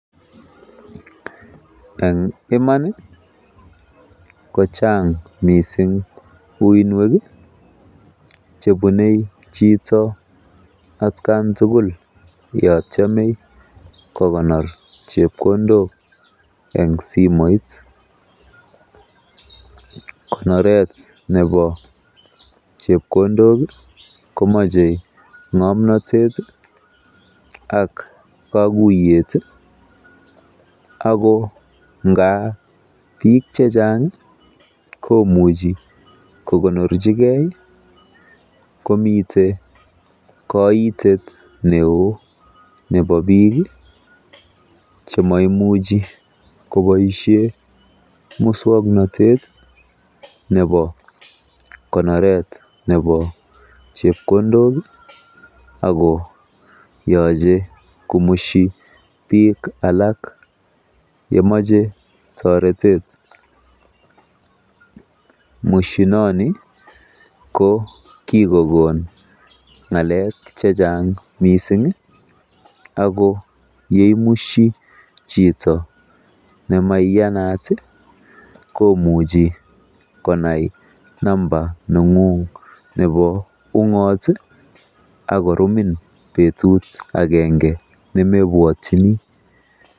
En iman kochang mising uiynwek chebune chito atkan tugul yon tyeme kokonor chepkondok en simoit konoret nebo chepkondok komoche ng'omnatet ak koguyet ago ngab biiik che chang komuchi kokonorchi ge komiten koitet neo nebo biik che moimuchi koboisien muswaknatet nebo konoret nebo chepkondok ak ko yoche kousyi biik alak ye moche toretet. Mushinoni ko kigokon ng'alek che chang mising ago ye imusyi chito nemaiyanat komuchi konai numbder neng'ung nebo ung'ot ak korumin betut agenge nemeibwotyini.